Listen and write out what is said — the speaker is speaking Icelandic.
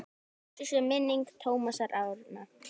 Blessuð sé minning Tómasar Árna.